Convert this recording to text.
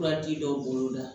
Furaji dɔw bolo la